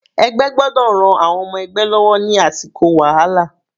Ẹgbẹ́ gbọ́dọ̀ ran àwọn ọmọ ẹgbẹ́ lọ́wọ́ ní àsìkò wàhálà.